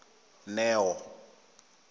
neo